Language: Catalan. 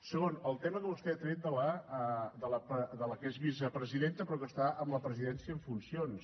segon el tema que vostè ha tret de la que és vicepresidenta però que està en la presidència en funcions